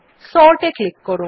Sort এ click করুন